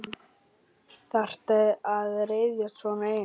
Þarftu að ryðjast svona inn?